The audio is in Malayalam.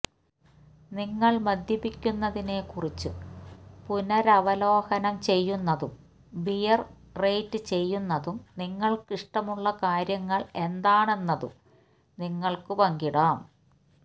നിങ്ങൾ മദ്യപിക്കുന്നതിനെക്കുറിച്ചും പുനരവലോകനം ചെയ്യുന്നതും ബിയർ റേറ്റ് ചെയ്യുന്നതും നിങ്ങൾക്ക് ഇഷ്ടമുള്ള കാര്യങ്ങൾ എന്താണെന്നതും നിങ്ങൾക്ക് പങ്കിടാം